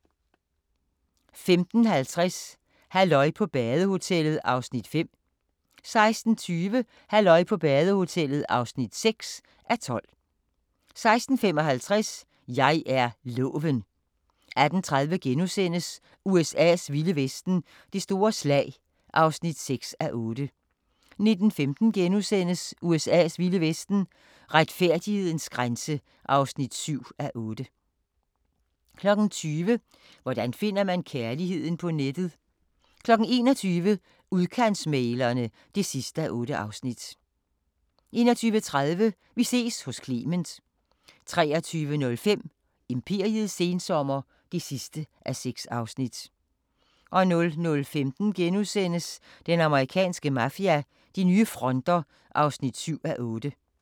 15:50: Halløj på badehotellet (5:12) 16:20: Halløj på badehotellet (6:12) 16:55: Jeg er loven 18:30: USA's vilde vesten: Det store slag (6:8)* 19:15: USA's vilde vesten: Retfærdighedens grænse (7:8)* 20:00: Hvordan finder man kærligheden på nettet? 21:00: Udkantsmæglerne (8:8) 21:30: Vi ses hos Clement 23:05: Imperiets sensommer (6:6) 00:15: Den amerikanske mafia: De nye fronter (7:8)*